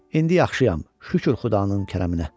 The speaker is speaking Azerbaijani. İndi yaxşıyam, şükür Xudanın kərəminə.